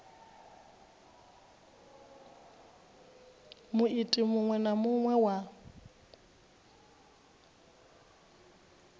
muiti muṅwe na muṅwe wa